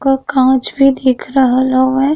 क काँच भी दिख रहल हउवे।